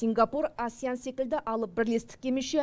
сингапур асеан секілді алып бірлестікке мүше